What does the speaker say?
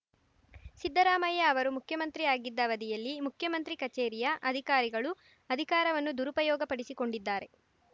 ಸಿದ್ದರಾಮಯ್ಯ ಅವರು ಮುಖ್ಯಮಂತ್ರಿ ಆಗಿದ್ದ ಅವಧಿಯಲ್ಲಿ ಮುಖ್ಯಮಂತ್ರಿ ಕಚೇರಿಯ ಅಧಿಕಾರಿಗಳು ಅಧಿಕಾರವನ್ನು ದುರುಪಯೋಗಪಡಿಸಿಕೊಂಡಿದ್ದಾರೆ